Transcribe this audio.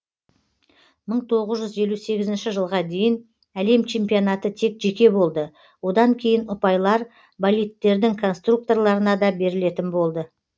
мың тоғыз жүз елу сегізінші жылға дейін әлем чемпионаты тек жеке болды одан кейін ұпайлар болидтердің конструкторларына да берілетін болды